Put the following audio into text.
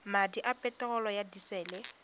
madi a peterolo ya disele